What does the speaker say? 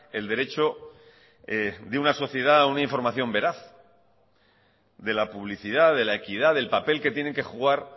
el derecho de una sociedad a una información veraz de la publicidad de la equidad del papel que tienen que jugar